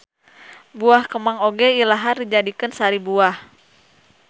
Buah kemang oge ilahar dijadikeun sari buah